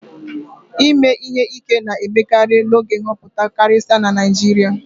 ime ihe ike na-emekarị n'oge nhọpụta karịsịa na Naijiria